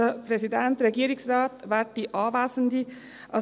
Ich habe es schon intern in unserer Fraktion gesagt.